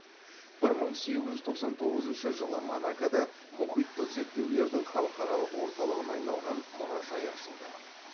бір мың сегіз жүз тоқсан тоғызыншы жылы монакода мұхиттық зерттеулердің халықаралақ орталығына айналған мұражай ашылды